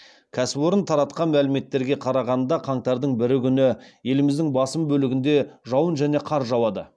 кәсіпорын таратқан мәліметтерге қарағанда қаңтардың бірі күні еліміздің басым бөлігінде жауын және қар жауады